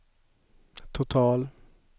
total